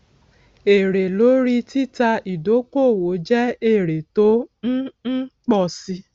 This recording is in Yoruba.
èrè lórí títa ìdókòwò jẹ èrè tó ń ń pọ si